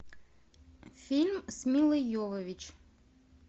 фильм с милой йовович